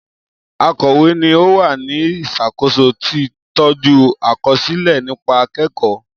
Akọ̀wé ni ó wà ní ìṣàkóso tí tọ́jú àkọsílẹ̀ nípa akẹ́kọ̀ọ́